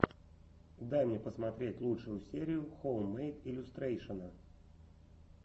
дай мне посмотреть лучшую серию хоуммэйд иллюстрэйшэна